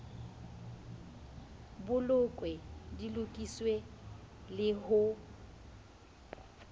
bolokwe di lokiswe le ho